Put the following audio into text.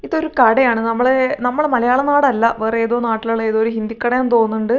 ഇതൊരു കടയാണ് നമ്മള് നമ്മടെ മലയാളം നാട് അല്ല വേറെ ഏതോ നാട്ടിലുള്ള ഏതോ ഒരു ഹിന്ദിക്കടയാണെന്ന് തോന്നുന്നുണ്ട്.